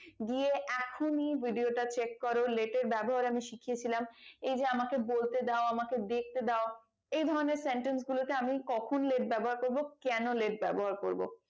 গিয়ে এখনই video টা chek করো let এর ব্যবহার আমি শিখিয়েছিলাম এই যে আমাকে বলতে দাও আমাকে দেখতে দাও এই ধরণের sentence গুলোতে আমি কখন let ব্যবহার করবো কেন let ব্যবহার করবো